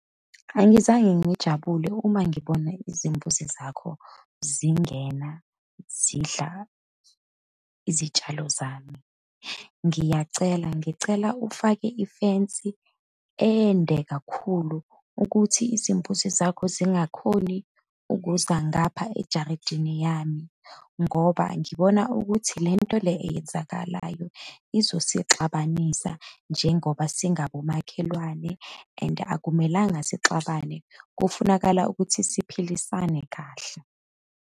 Angizange ngijabule uma ngibona izimbuzi zakho zingena, zidla izitshalo zami. Ngiyacela, ngicela ufake ifensi ende kakhulu ukuthi izimbuzi zakho zingakhoni ukuza ngapha ejaridini yami, ngoba ngibona ukuthi lento le eyenzakalayo izosixhabanisa njengoba singabomakhelwane. And akumelanga sixabane, kufunakala ukuthi siphilisane kahle.